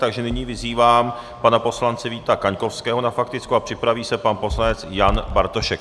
Takže nyní vyzývám pana poslance Víta Kaňkovského na faktickou a připraví se pan poslanec Jan Bartošek.